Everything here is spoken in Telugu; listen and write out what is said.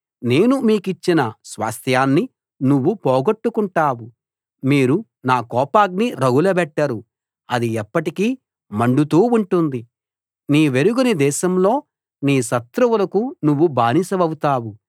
నేను నీకిచ్చిన స్వాస్థ్యాన్ని నువ్వు పోగొట్టుకుంటావు మీరు నా కోపాగ్ని రగులబెట్టారు అది ఎప్పటికీ మండుతూ ఉంటుంది నీవెరుగని దేశంలో నీ శత్రువులకు నువ్వు బానిసవవుతావు